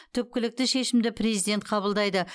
түпкілікті шешімді президент қабылдайды